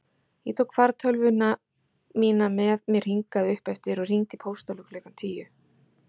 Ég tók fartölvuna mína með mér hingað uppeftir og hringdi í pósthólfið klukkan tíu.